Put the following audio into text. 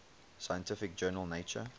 scientific journal nature